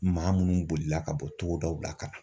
Maa munnu bolila ka bɔ togodaw la ka na.